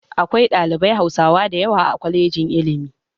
Akwai ɗalibai hausawa dayawa a kwalejin iilmi